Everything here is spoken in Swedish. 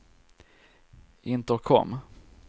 intercom